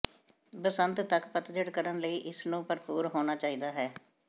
ਬਸੰਤ ਤੱਕ ਪਤਝੜ ਕਰਨ ਲਈ ਇਸ ਨੂੰ ਭਰਪੂਰ ਹੋਣਾ ਚਾਹੀਦਾ ਹੈ